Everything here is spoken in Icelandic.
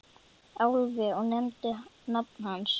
Álfi og nefndi nafn hans.